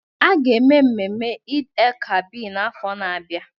A ga-eme mmemme Eid-el-Kabir n'afọ na-abịa.